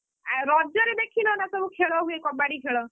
ଆଉ ରଜରେ ଦେଖିନ ନା ସବୁ ଖେଳ ହୁଏ କବାଡି ଖେଳ,